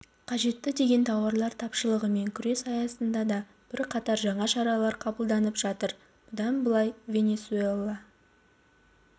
қажетті деген тауарлар тапшылығымен күрес аясында да бірқатар жаңа шаралар қабылданып жатыр бұдан былай венесуэла